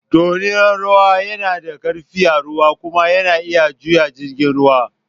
Dorinan ruwa na da ƙarfi a ruwa kuma yana iya juya jirgin ruwa.